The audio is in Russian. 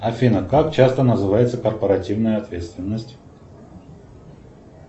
афина как часто называется корпоративная ответственность